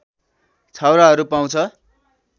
छाउराहरू पाउँछ